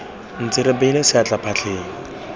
ntse re beile seatla phatleng